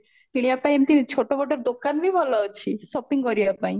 କିଣିବା ପାଇଁ ଏମତି ଛୋଟ ମୋଟ ଦୋକାନ ବି ଭଲ ଅଛି shopping କରିବା ପାଇଁ